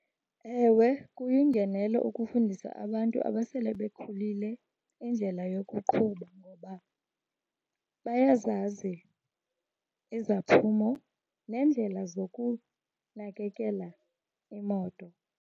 Ewe, kuyingenelo ukufundisa abantu abasele bekhulile indlela yokuqhuba ngoba bayazazi izaphumo neendlela zokunakekela imoto.